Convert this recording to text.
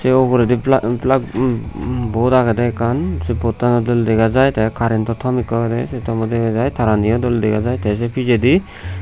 ai uguredi plug plug hm hm board agede ekkan se board tano dole dega jai te current to tom ekko agede se tommo dega jai tarani yo dole dega jai te se pijedi.